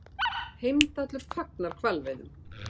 Heimdallur fagnar hvalveiðum